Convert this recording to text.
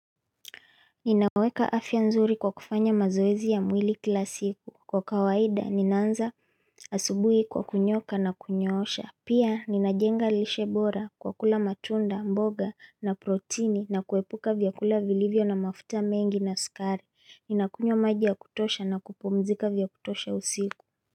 Ninaweka afya nzuri kwa kufanya mazoezi ya mwili kila siku. Kwa kawaida, ninaanza asubuhi kwa kunyoka na kunyoosha. Pia, ninajenga lishe bora kwa kula matunda, mboga na protini na kuepuka vyakula vilivyo na mafuta mengi na sukari. Ninakunywa maji ya kutosha na kupumzika vya kutosha usiku.